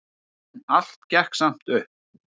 En allt gekk samt upp.